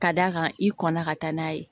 Ka d'a kan i kɔnna ka taa n'a ye